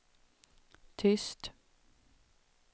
tyst